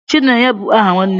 Chinenye bu aha nwannem